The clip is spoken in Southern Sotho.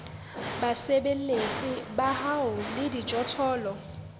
basebeletsi ba hao le dijothollo